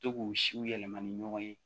To k'u siw yɛlɛma ni ɲɔgɔn ye